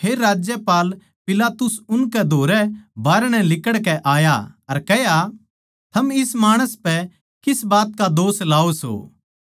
फेर राज्यपाल पिलातुस उनकै धोरै बाहरणै लिकड़कै आया अर कह्या थम इस माणस पै किस बात का दोष लाओ सो